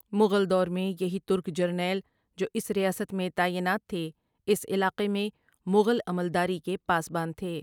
مغل دور میں یہی ترک جرنیل جو اس ریاست میں تعینات تھے اس علاقے میں مغل عملداری کے پاسبان تھے ۔